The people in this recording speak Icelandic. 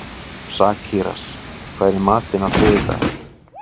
Sakarías, hvað er í matinn á þriðjudaginn?